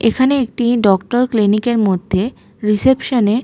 এখানে একটি doctor clinic এর মধ্যে রিসেপশন -এ--